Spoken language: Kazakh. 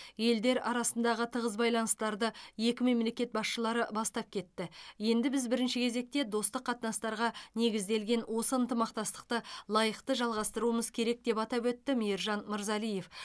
елдер арасындағы тығыз байланыстарды екі мемлекет басшылары бастап кетті енді біз бірінші кезекте достық қатынастарға негізделген осы ынтымақтастықты лайықты жалғастыруымыз керек деп атап өтті мейіржан мырзалиев